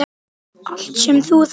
Allt sem þú þarft.